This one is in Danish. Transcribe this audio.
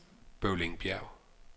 Bøvlingbjerg